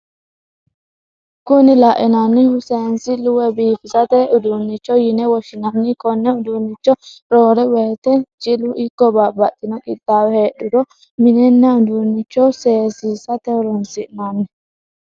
Kuni lainnannihu seensillu woy biifisate udunnicho yine woshinanni konne uduunnicho roore woyite jilu ikko babbaxitinno qixaawo heedhuro minenna udunnicho seesisate horonsi'nanni.